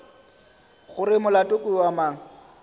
gore molato ke wa mang